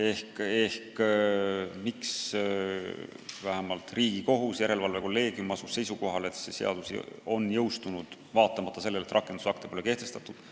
Ma selgitasin, miks vähemalt Riigikohus, põhiseaduslikkuse järelevalve kolleegium asus seisukohale, et see seadus on jõustunud, kuigi rakendusakte pole kehtestatud.